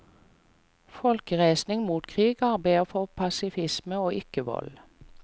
Folkereisning mot krig arbeider for pasifisme og ikkevold.